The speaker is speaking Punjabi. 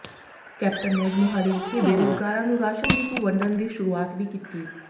ਕੈਪਟਨ ਨੇ ਅੱਜ ਮੋਹਾਲੀ ਵਿਖੇ ਬੇਰੁੱਜ਼ਗਾਰਾਂ ਨੂੰ ਰਾਸ਼ਨ ਡਿਪੂ ਵੰਡਣ ਦੀ ਸ਼ੁਰੂਆਤ ਵੀ ਕੀਤੀ